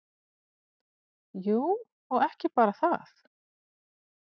Jú, og ekki bara það.